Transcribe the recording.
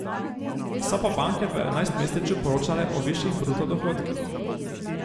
So pa banke v enajstmesečju poročale o višjih bruto dohodkih.